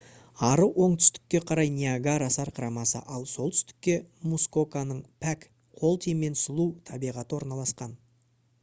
ары оңтүстікке қарай ниагара сарқырамасы ал солтүстікте мускоканың пәк қол тимеген сұлу табиғаты орналасқан